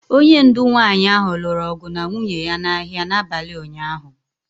Onye ndu nwanyị ahụ lụrụ ọgụ na nwunye ya n'ahịa n'abalị ụnyaahụ